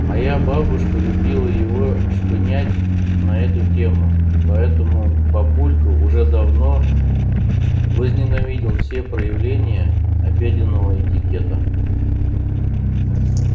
моя бабушка любила его шпынять на эту тему поэтому папулька уже давно возненавидел все проявления обеденного этикета